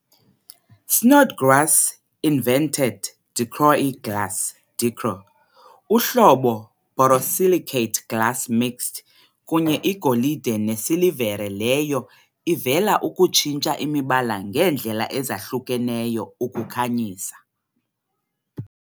Snodgrass invented Dichroic glass Dichro, uhlobo borosilicate glass mixed kunye igolide nesilivere leyo ivela ukutshintsha imibala ngeendlela ezahlukeneyo ukukhanyisa.